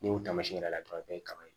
N'i y'o taamasiɲɛn yira dɔrɔn a bɛ kɛ kaba ye